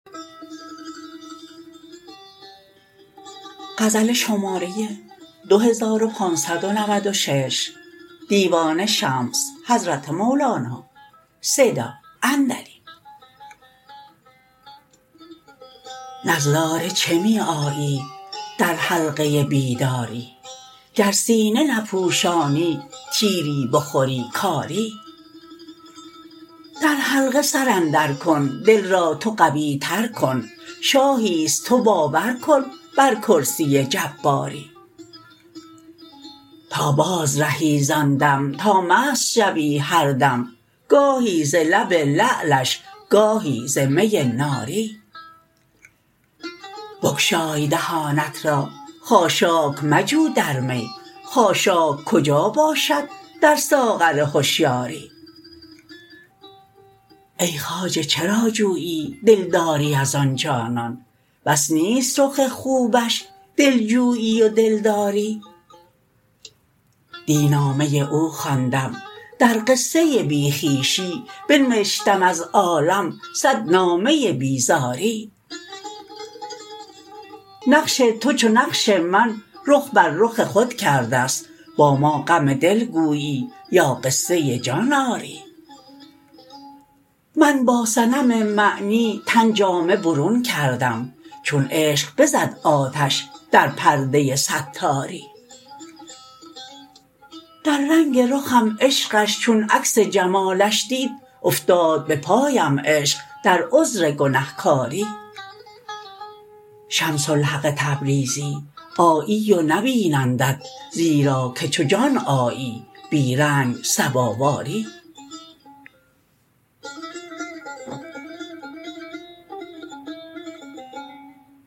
نظاره چه می آیی در حلقه بیداری گر سینه نپوشانی تیری بخوری کاری در حلقه سر اندرکن دل را تو قویتر کن شاهی است تو باور کن بر کرسی جباری تا بازرهی زان دم تا مست شوی هر دم گاهی ز لب لعلش گاهی ز می ناری بگشای دهانت را خاشاک مجو در می خاشاک کجا باشد در ساغر هشیاری ای خواجه چرا جویی دلداری از آن جانان بس نیست رخ خوبش دلجویی و دلداری دی نامه او خواندم در قصه بی خویشی بنوشتم از عالم صد نامه بیزاری نقش تو چو نقش من رخ بر رخ خود کرده ست با ما غم دل گویی یا قصه جان آری من با صنم معنی تن جامه برون کردم چون عشق بزد آتش در پرده ستاری در رنگ رخم عشقش چون عکس جمالش دید افتاد به پایم عشق در عذر گنه کاری شمس الحق تبریزی آیی و نبینندت زیرا که چو جان آیی بی رنگ صباواری